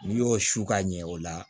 N'i y'o su ka ɲɛ o la